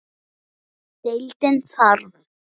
Deildin þarf